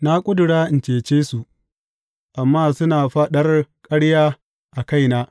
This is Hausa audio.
Na ƙudura in cece su amma suna faɗar ƙarya a kaina.